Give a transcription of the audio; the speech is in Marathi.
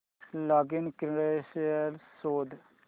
लॉगिन क्रीडेंशीयल्स शोध